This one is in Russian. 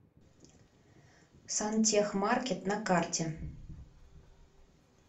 сантехмаркет на карте